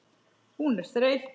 Hún er þreytt.